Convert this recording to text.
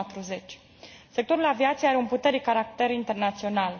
2040. Sectorul aviației are un puternic caracter internațional.